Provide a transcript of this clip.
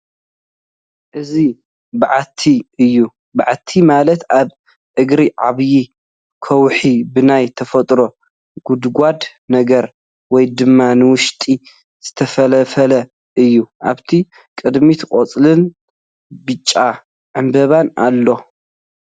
እዚ በዓቲ እዩ በዓቲ ማለት ኣብ እግሪ ዓብይ ከውሑ ብናይ ተፈጥሮ ጎድጓድ ነገር ወይ ድማ ንውሽጢ ዝተፈልፈለ እዩ ፡ ኣብቲ ቕድሚቱ ቖፅልን ብጫ ዕምበባን ኣለዎ ።